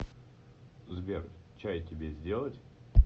сбер чай тебе сделать